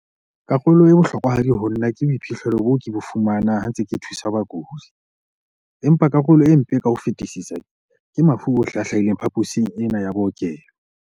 "Karolo e bohlokwahadi ho nna ke boiphihlelo bo ke bo fumaneng ha ke ntse ke thusa bakudi, empa karolo e mpe ka ho fetisisa ke mafu ohle a hlahileng phaposing ena ya bookelo."